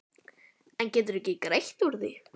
En geturðu ekki greitt úr því?